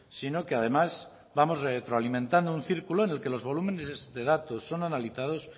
sino que además vamos retroalimentando un círculo en que los volúmenes de datos son analizados